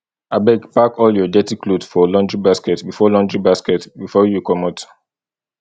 abeg pack all your dirty cloth for laundry basket before laundry basket before you comot